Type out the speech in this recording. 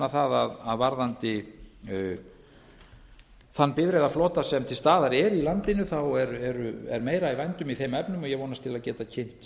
það að varðandi þann bifreiðaflota sem til staðar er í landinu er meira í vændum í þeim efnum og ég vonast til að geta kynnt